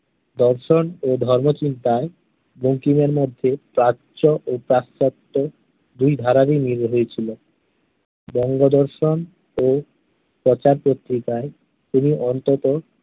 দর্শন ও ধর্মচিন্তায় বঙ্কিমের মধ্যে প্রাচ্য ও পাশ্চাত্য দুই ধারারই মিল হয়েছিল। বঙ্গদর্শন ও প্রচার পত্রিকায় তিনি অন্ততঃ